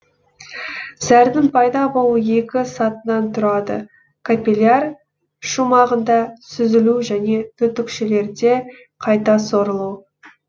зәрдің пайда болуы екі сатыдан тұрады капилляр шумағында сүзілу және түтікшелерде қайта сорылу